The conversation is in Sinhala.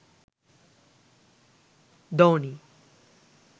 dhoni